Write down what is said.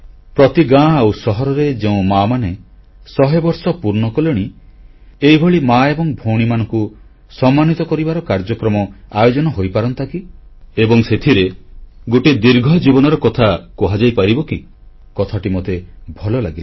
ପ୍ରତି ଗାଁ ଆଉ ସହରରେ ଯେଉଁ ମାଆମାନେ ଶହେ ବର୍ଷ ପୂର୍ଣ୍ଣ କଲେଣି ଏହିଭଳି ମାଆ ଏବଂ ଭଉଣୀମାନଙ୍କୁ ସମ୍ମାନିତ କରିବାର କାର୍ଯ୍ୟକ୍ରମ ଆୟୋଜନ ହୋଇପାରନ୍ତା କି ଏବଂ ସେଥିରେ ଗୋଟିଏ ଦୀର୍ଘଜୀବନର କଥା କୁହାଯାଇପାରିବ କି କଥାଟି ମୋତେ ଭଲ ଲାଗିଲା